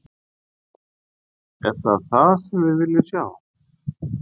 Er það það sem við viljum sjá?